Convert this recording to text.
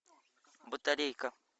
батарейка